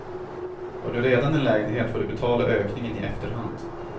Har du redan en lägenhet får du betala ökningen i efterhand.